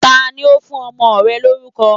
Tani ó fún ọmọ rẹ lórúko